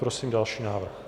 Prosím další návrh.